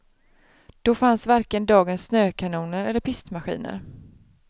Då fanns varken dagens snökanoner eller pistmaskiner.